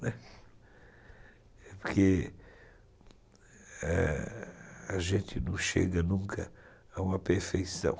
né, porque, é, a gente não chega nunca a uma perfeição.